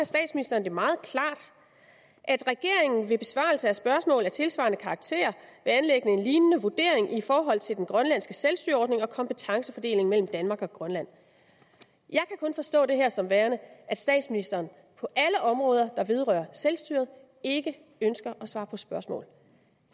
statsministeren det meget klart at regeringen ved besvarelse af spørgsmål af tilsvarende karakter vil anlægge en lignende vurdering i forhold til den grønlandske selvstyreordning og kompetencefordelingen mellem danmark og grønland jeg kan kun forstå det her sådan at statsministeren på alle områder der vedrører selvstyret ikke ønsker at svare på spørgsmål